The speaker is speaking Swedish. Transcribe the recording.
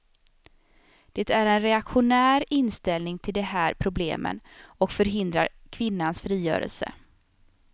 Det är en reaktionär inställning till de här problemen och förhindrar kvinnans frigörelse.